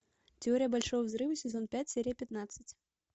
теория большого взрыва сезон пять серия пятнадцать